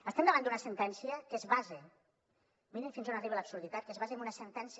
estem davant d’una sentència que es basa mirin fins on arriba l’absurditat en una sentència